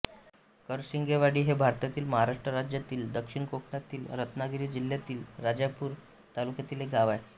करशिंगेवाडी हे भारतातील महाराष्ट्र राज्यातील दक्षिण कोकणातील रत्नागिरी जिल्ह्यातील राजापूर तालुक्यातील एक गाव आहे